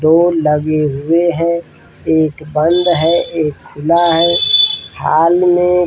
दो लगे हुए हैं। एक बंद है एक खुला है। हॉल में --